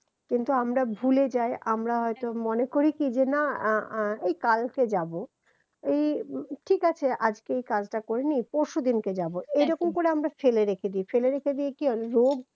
কিন্তু আমরা ভুলে যাই আমরা একদম মনে করি কি যে না আ আ এই কালকে যাব এই ঠিক আছে আজকে এই কাজটা করে নিই পরশু দিনকে যাব এরকম করে আমরা ফেলে রেখে দিই ফেলে রেখে দিয়ে কি হয় রোগ